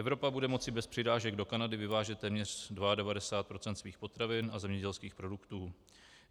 Evropa bude moci bez přirážek do Kanady vyvážet téměř 92 % svých potravin a zemědělských produktů.